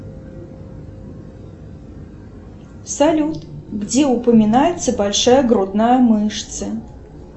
салют где упоминается большая грудная мышца